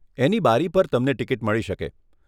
એની બારી પર તમને ટીકીટ મળી શકે.